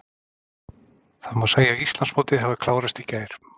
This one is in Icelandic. Það má segja að Íslandsmótið hafi klárast í gær.